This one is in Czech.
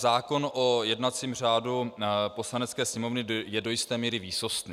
Zákon o jednacím řádu Poslanecké sněmovny je do jisté míry výsostný.